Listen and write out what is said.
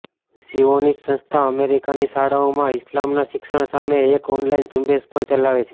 Zionist સંસ્થા અમેરિકાની શાળાઓમાં ઈસ્લામના શિક્ષણ સામે એક ઓનલાઈન ઝૂંબેશ પણ ચલાવે છે